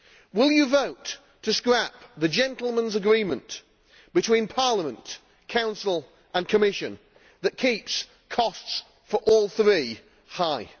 Will you vote to scrap the gentleman's agreement between the Parliament, Council and Commission that keeps costs for all three high?